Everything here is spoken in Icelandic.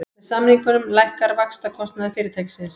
Með samningunum lækkar vaxtakostnaður fyrirtækisins